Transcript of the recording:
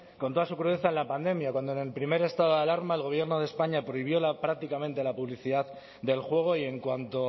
con toda su crudeza en la pandemia cuando en el primer estado de alarma el gobierno de españa prohibió prácticamente la publicidad del juego y en cuanto